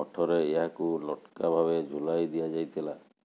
ମଠରେ ଏହାକୁ ଲଟକା ଭାବେ ଝୁଲାଇ ଦିଆଯାଇଥିଲା